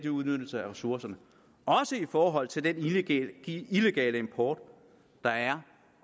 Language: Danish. udnyttelse af ressourcerne også i forhold til den illegale import der er